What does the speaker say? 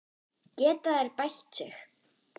Geta þeir bætt sig?